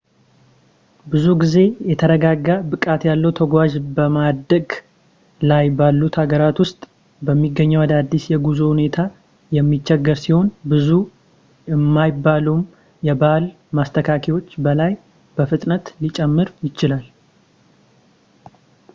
ብዙ ጊዜ የተረጋጋ ብቃት ያለው ተጓዥ በማደግ ላይ ባሉት ሀገራት ውስጥ በሚገኘው አዳዲስ የጉዞ ሁኔታ የሚቸገር ሲሆን ብዙ የማይባሉም የባህል ማስተካከያዎች በላይ በላይ በፍጥነት ሊጨማመር ይችላል